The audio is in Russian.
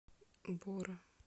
бора